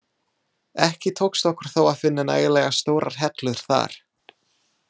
Ekki tókst okkur þó að finna nægilega stórar hellur þar.